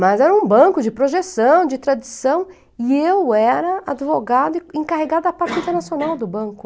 Mas era um banco de projeção, de tradição, e eu era advogada e encarregada da parte internacional do banco.